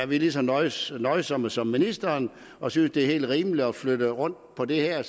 vi er lige så nøjsomme nøjsomme som ministeren og synes det er helt rimeligt at flytte rundt på de her